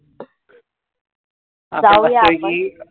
जाऊया आपण.